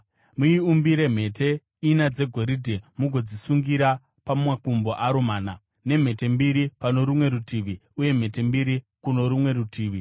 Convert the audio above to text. Muiumbire mhete ina dzegoridhe mugodzisungira pamakumbo aro mana, nemhete mbiri pano rumwe rutivi uye mhete mbiri kuno rumwe rutivi.